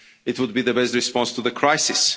It would be the best response to the crisis.